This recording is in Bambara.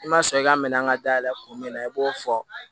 I ma sɔn i ka minɛn ka da yɛlɛ kun min na i b'o fɔ